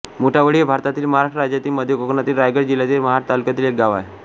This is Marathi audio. मुठावळी हे भारतातील महाराष्ट्र राज्यातील मध्य कोकणातील रायगड जिल्ह्यातील महाड तालुक्यातील एक गाव आहे